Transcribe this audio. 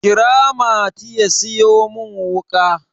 kira mati ya siyo min wuka!